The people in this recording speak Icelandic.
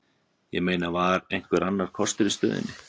Ég meina, var einhver annar kostur í stöðunni?